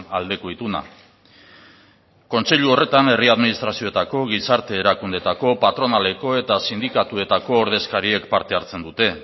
aldeko ituna kontseilu horretan herri administrazioetako gizarte erakundeetako patronaleko eta sindikatuetako ordezkariek parte hartzen dute